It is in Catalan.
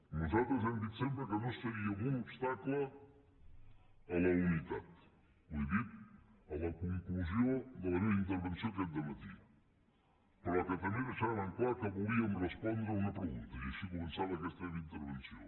nosaltres hem dit sempre que no seríem un obstacle a la unitat ho he dit a la conclusió de la meva intervenció aquest dematí però que també deixàvem clar que volíem respondre una pregunta i així començava aquesta meva intervenció